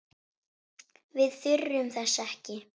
Við þurfum þess ekki.